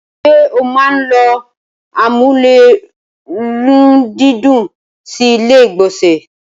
ṣé o máa n ló amúlérùndídùn sí ilé ìgbọ̀nsẹ̀?